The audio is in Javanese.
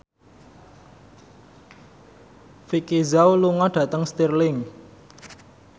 Vicki Zao lunga dhateng Stirling